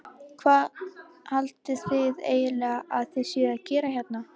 Hvað haldið þið eiginlega að þið séuð að gera hérna?